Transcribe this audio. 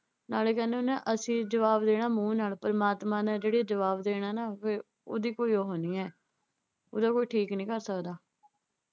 ਨਾਲੇ ਕਹਿੰਦੇ ਹੁੰਦੇ ਆ ਨਾ ਅਸੀਂ ਜਵਾਬ ਦੇਣਾ ਮੂੰਹ ਨਾਲ ਪਰਮਾਤਮਾ ਨੇ ਜਿਹੜੇ ਜਵਾਬ ਦੇਣਾ ਨਾ ਫਿਰ ਉਹਦੀ ਕੋਈ ਉਹ ਨਈਂ ਏ। ਉਹਦਾ ਕੋਈ . ਭਰ ਸਕਦਾ।